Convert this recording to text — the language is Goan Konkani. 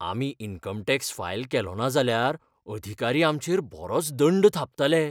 आमी इनकम टॅक्स फायल केलो ना जाल्यार, अधिकारी आमचेर बरोच दंड थापतलें.